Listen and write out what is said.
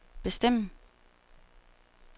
bestemme